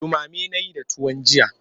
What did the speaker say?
Ɗumame na yi da tuwon jiya.